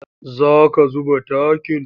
Za ka zuba takin?